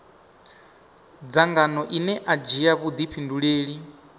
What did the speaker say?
dzangano ine a dzhia vhuifhinduleli